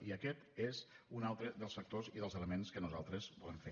i aquest és un altre dels factors i dels elements que nosaltres volem fer